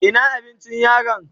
Ina abincin yaron?